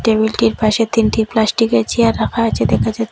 টেবিলটির পাশে তিনটি প্লাস্টিকের চেয়ার রাখা আছে দেখা যা--